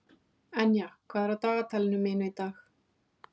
Enja, hvað er á dagatalinu mínu í dag?